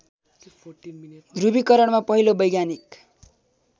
ध्रुवीकरणमा पहिलो वैज्ञानिक